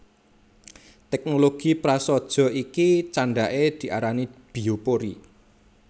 Teknologi prasaja iki candhake diarani biopori